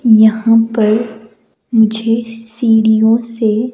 यहां पर मुझे सीढ़ियों से--